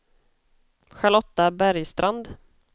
Charlotta Bergstrand